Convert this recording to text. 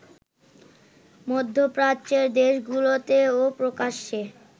মধ্যপ্রাচ্যের দেশগুলোতেও প্রকাশ্যে